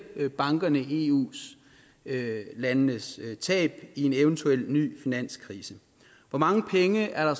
bankerne i eu landenes tab i en eventuel ny finanskrise hvor mange penge er